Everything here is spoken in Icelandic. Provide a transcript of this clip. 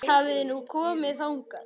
Víst hafði hún komið þangað.